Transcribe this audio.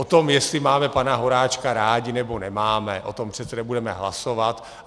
O tom, jestli máme pana Horáčka rádi, nebo nemáme, o tom přece nebudeme hlasovat.